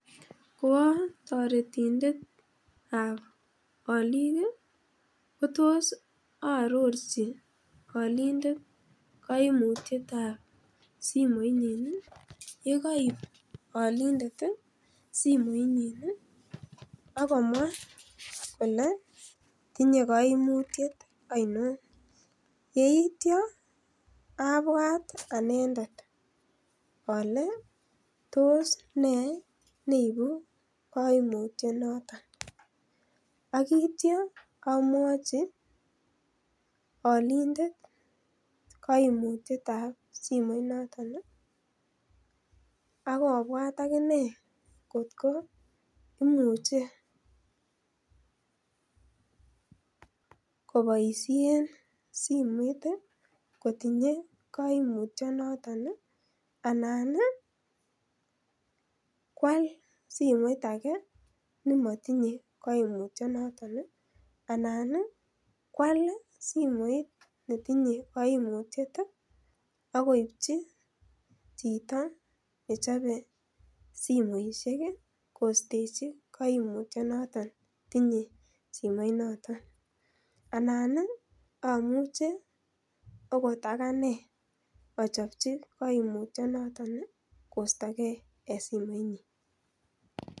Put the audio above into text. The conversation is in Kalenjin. Koa toretindetab olik kotos aarochi olindet kaimutietab simoinyin. Yekoip olindet simoinyin ii akomwa kolee tinye koimutiet ainon, yeityia abwat anendet ale tos nee neibu koimutyia noton, akitia amwachi olindet koimutietab simoinoton ii akobwat akinee kot koo imuche koboisien simoit ii kotinyee simoinotet anan ii kwal simoit akee nemotinye koimutyia noton ii anan kwal simoit netinye koimutiet ii akoipchi chito nechobe simoisiek ii kostechi koimutyia noton tinye simoinoton anan ii amuche akot aganee achopchi koimutyia noton ii kostokee en simoinyin.